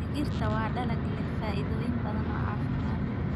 Digirta waa dalag leh faa'iidooyin badan oo caafimaad.